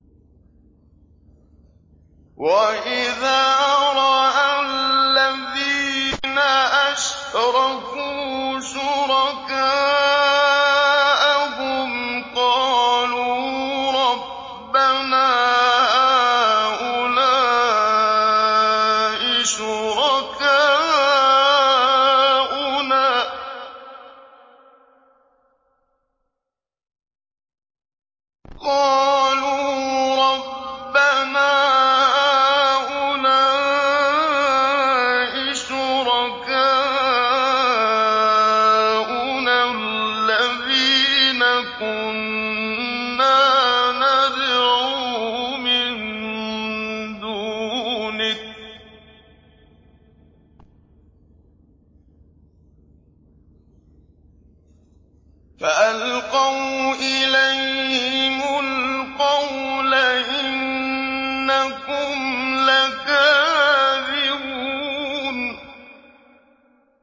وَإِذَا رَأَى الَّذِينَ أَشْرَكُوا شُرَكَاءَهُمْ قَالُوا رَبَّنَا هَٰؤُلَاءِ شُرَكَاؤُنَا الَّذِينَ كُنَّا نَدْعُو مِن دُونِكَ ۖ فَأَلْقَوْا إِلَيْهِمُ الْقَوْلَ إِنَّكُمْ لَكَاذِبُونَ